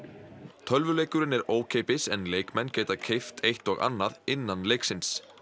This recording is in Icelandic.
tölvuleikurinn er ókeypis en leikmenn geta keypt eitt og annað innan leiksins